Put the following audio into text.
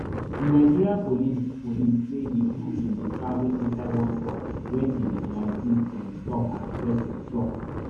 di nigeria police police say di group bin dey travel inside one truck wen di vigilantes bin stop and search di truck